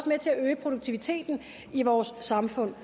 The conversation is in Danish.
med til at øge produktiviteten i vores samfund